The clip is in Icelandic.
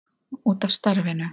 Út af starfinu.